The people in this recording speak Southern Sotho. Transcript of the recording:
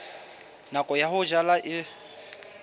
nako ya ho jala e